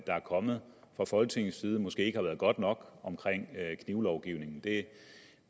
kommet fra folketingets side måske ikke har været godt nok omkring knivlovgivningen det